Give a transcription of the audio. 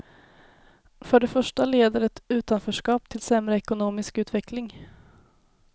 För det första leder ett utanförskap till sämre ekonomisk utveckling.